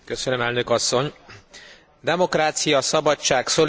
Demokrácia, szabadság, szolidaritás, keresztényi eszme.